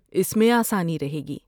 اس میں آسانی رہے گی۔